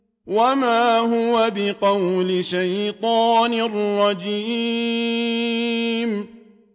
وَمَا هُوَ بِقَوْلِ شَيْطَانٍ رَّجِيمٍ